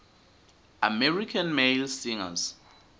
american male singers